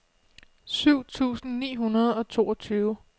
syv tusind ni hundrede og toogtyve